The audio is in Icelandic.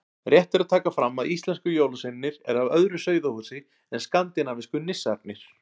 Rétt er að taka fram að íslensku jólasveinarnir eru af öðru sauðahúsi en skandinavísku nissarnir.